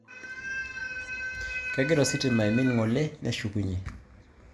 Kegira ositima ng'ole aimin neshukunye